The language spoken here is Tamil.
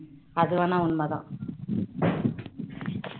அது வேணா உண்மை தான்